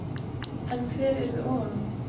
En hver yrði ofan á?